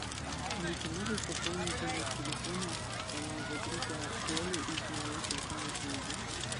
алиса можешь пополнить номер телефона моего друга коли из моей телефонной книги